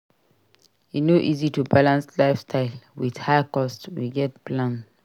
E no easy to balance lifestyle with high cost; we gats plan well.